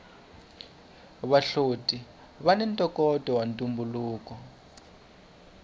vahloti vani ntokoto wa ntumbuluko